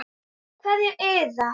Kveðja Iða.